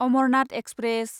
Amarnath express